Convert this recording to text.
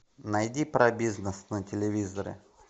найди про бизнес на телевизоре